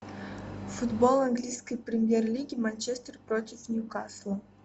футбол английской премьер лиги манчестер против ньюкасла